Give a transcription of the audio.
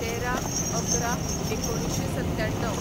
१३/११/१९९७